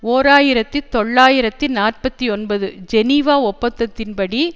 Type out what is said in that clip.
ஓர் ஆயிரத்தி தொள்ளாயிரத்தி நாற்பத்தி ஒன்பது ஜெனீவா ஒப்பந்தத்தின் படி